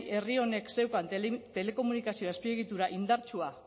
herri honek zeukan telekomunikazio azpiegitura indartsua